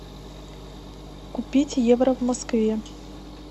купить евро в москве